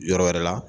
Yɔrɔ wɛrɛ la